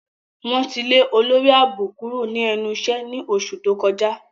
Wọn ti le olori aabo kuro ni ẹnu iṣẹ ni oṣu to kọja.